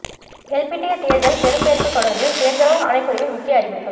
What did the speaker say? எல்பிட்டிய தேர்தல் பெறுபேறுகள் தொடர்பில் தேர்தல்கள் ஆணைக்குழுவின் முக்கிய அறிவிப்பு